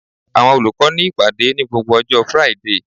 Àwọn olùkọ́ ní ìpàdé ní gbogbo ọjọ́ Friday